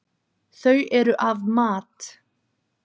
Þau eru af mat.